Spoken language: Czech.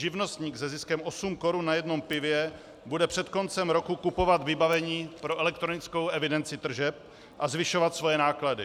Živnostník se ziskem osm korun na jednom pivě bude před koncem roku kupovat vybavení pro elektronickou evidenci tržeb a zvyšovat svoje náklady.